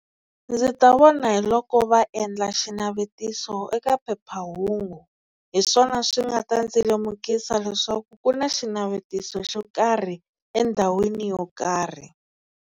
Ndzi ta vona hi loko va endla xinavetiso eka phephahungu hi swona swi nga ta ndzi lemukisa leswaku ku na xinavetiso xo karhi endhawini yo karhi.